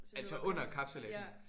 Altså under kapsejladsen?